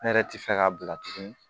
Ne yɛrɛ ti fɛ k'a bila tuguni